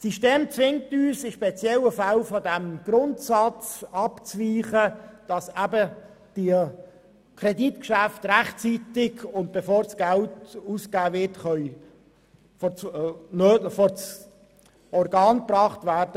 Das System zwingt uns, in speziellen Fällen vom Grundsatz abzuweichen, dass Kreditgeschäfte rechtzeitig und bevor Geld ausgegeben wird, vor das zuständige und kompetente Organ gebracht werden.